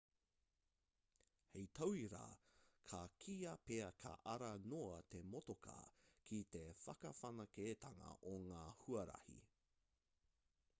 hei tauira ka kīia pea ka ara noa te motokā ki te whakawhanaketanga o ngā huarahi